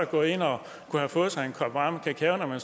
gå ind og få sig en kop varm kakao